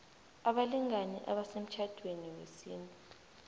abalingani abasemtjhadweni wesintu